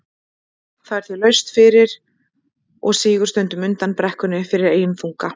Það er því laust fyrir og sígur stundum undan brekkunni fyrir eigin þunga.